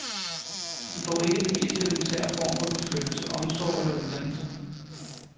De får ikke den mest elementære form for beskyttelse, omsorg eller uddannelse.